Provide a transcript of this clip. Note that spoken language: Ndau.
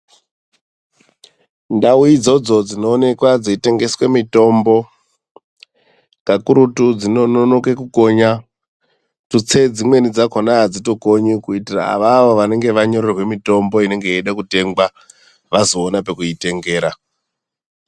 Ndau idzodzo dzinoonekwa dzeitengeswe mitombo kakurutu dzinokona kukonya tutse dzimweni dzakona hadzitokonyi kuitira avavo vanenge wanyorerwa mitombo inemge yeide kutengwa vazoona pekuitengera.